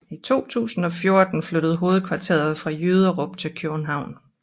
I 2014 flyttede hovedkontoret fra Jyderup til København